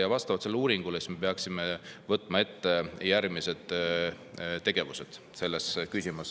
Ja vastavalt sellele uuringule peaksime ette võtma järgmised selles küsimuses.